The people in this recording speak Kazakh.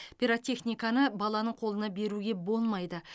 пиротехниканы баланың қолына беруге болмайды